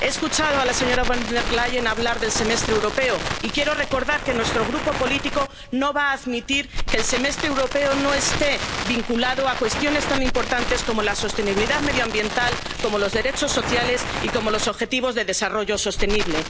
económica. He escuchado a la señora Van der Leyen hablar del Semestre Europeo, y quiero recordar que nuestro grupo político no va a admitir que el Semestre Europeo no esté vinculado a cuestiones tan importantes como la sostenibilidad medioambiental, como los derechos sociales y como los objetivos de